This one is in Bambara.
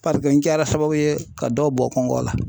Parike n kɛra sababu ye ka dɔw bɔ kɔngɔ la.